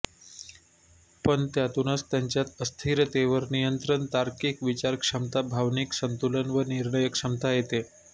पण त्यातूनच त्यांच्यात अस्थिरतेवर नियंत्रण तार्किक विचारक्षमता भावनिक संतुलन व निर्णयक्षमता येते